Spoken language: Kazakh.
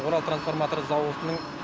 орал трансформатор зауытының